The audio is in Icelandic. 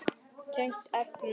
Tengt efni